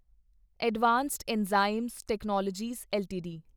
advanced enzyme technologies LTD